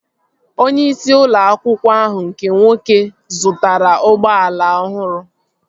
Onye isi ụlọ akwụkwọ ahụ nke nwoke zụtara ụgbọala ọhụrụ